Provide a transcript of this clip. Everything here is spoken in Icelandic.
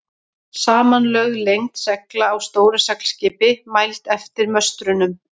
Samanlögð lengd segla á stóru seglskipi, mæld eftir möstrunum.